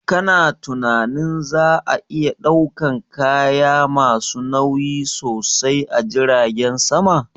Ka na tunanin za a iya ɗaukan kaya ma su nauyi sosai a jiragen sama?